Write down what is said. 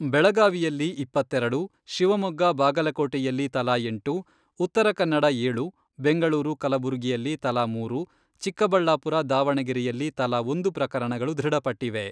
ಬೆಳಗಾವಿಯಲ್ಲಿ ಇಪ್ಪತ್ತೆರೆಡು, ಶಿವಮೊಗ್ಗ, ಬಾಗಲಕೋಟೆಯಲ್ಲಿ ತಲಾ ಎಂಟು, ಉತ್ತರ ಕನ್ನಡ ಏಳು, ಬೆಂಗಳೂರು, ಕಲಬುರಗಿಯಲ್ಲಿ ತಲಾ ಮೂರು, ಚಿಕ್ಕಬಳ್ಳಾಪುರ, ದಾವಣಗೆರೆಯಲ್ಲಿ ತಲಾ ಒಂದು ಪ್ರಕರಣಗಳು ದೃಢಪಟ್ಟಿವೆ.